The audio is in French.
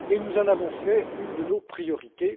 Nous en avons fait une de nos priorités.